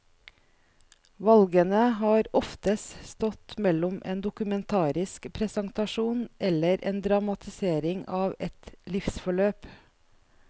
Valgene har oftest stått mellom en dokumentarisk presentasjon eller en dramatisering av et livsforløp.